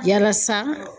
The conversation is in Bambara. Yalasa